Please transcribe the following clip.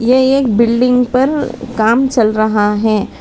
ये एक बिल्डिंग पर काम चल रहा है।